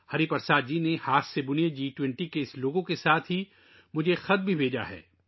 ہری پرساد جی نے ہاتھ سے بنے اس جی 20 لوگو کے ساتھ مجھے ایک خط بھی بھیجا ہے